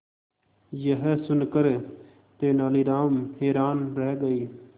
यह सुनकर तेनालीराम हैरान रह गए